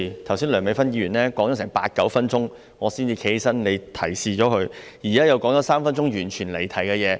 剛才梁美芬議員發言了八九分鐘，我才站起來，而你提示了她，現在她又說了三分鐘完全離題的事宜。